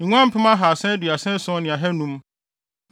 nguan mpem ahaasa aduasa ason ne ahannum (337,500),